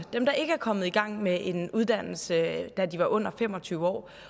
dem der ikke er kommet i gang med en uddannelse da de var under fem og tyve år